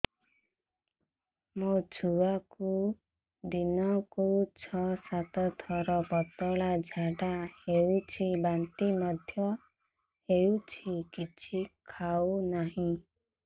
ମୋ ଛୁଆକୁ ଦିନକୁ ଛ ସାତ ଥର ପତଳା ଝାଡ଼ା ହେଉଛି ବାନ୍ତି ମଧ୍ୟ ହେଉଛି କିଛି ଖାଉ ନାହିଁ